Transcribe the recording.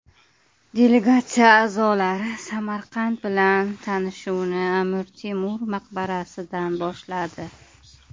Delegatsiya a’zolari Samarqand bilan tanishuvni Amir Temur maqbarasidan boshladi.